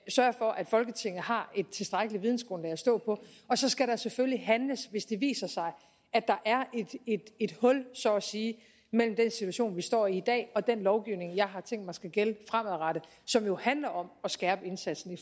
sørge for at folketinget har et tilstrækkeligt vidensgrundlag at stå på og så skal der selvfølgelig handles hvis det viser sig at der er et hul så at sige mellem den situation vi står i i dag og den lovgivning jeg har tænkt mig skal gælde fremadrettet som jo handler om at skærpe indsatsen